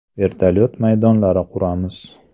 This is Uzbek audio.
Vertolyuot maydonlari quramiz.